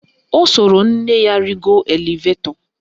O soro nne ya rigo elevetọ